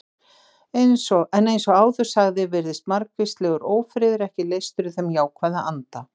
En eins og áður sagði virðist margvíslegur ófriður ekki leystur í þeim jákvæða anda.